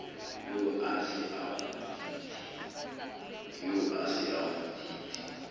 eo a se a kgutsitse